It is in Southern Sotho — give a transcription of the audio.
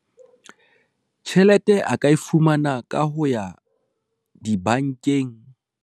Tjhelete a ka e fumana ka ho ya dibankeng.